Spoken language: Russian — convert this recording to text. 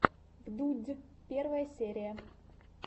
вдудь первая серия